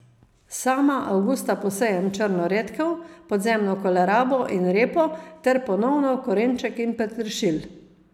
Sama avgusta posejem črno redkev, podzemno kolerabo in repo ter ponovno korenček in peteršilj.